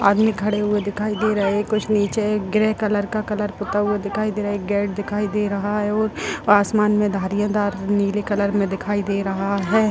आदमी खड़े हुए दिखाई दे रहे हैं कुछ नीचे ग्रे कलर का कलर पुता हुआ दिखाई दे रहा है एक गेट दिखाई दे रहा है और आसमान में धारियाँ दार नीले कलर में दिखाई दे रहा है।